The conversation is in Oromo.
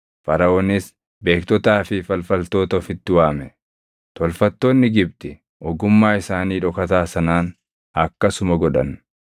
Faraʼoonis beektotaa fi falfaltoota ofitti waame; tolfattoonni Gibxi ogummaa isaanii dhokataa sanaan akkasuma godhan.